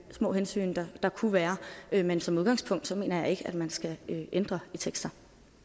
små hensyn der kunne være være men som udgangspunkt mener jeg ikke at man skal ændre i tekster